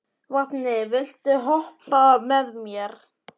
Vápni, viltu hoppa með mér?